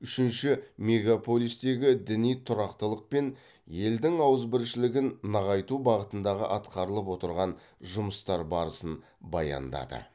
үшінші мегаполистегі діни тұрақтылық пен елдің ауызбіршілігін нығайту бағытындағы атқарылып отырған жұмыстар барысын баяндады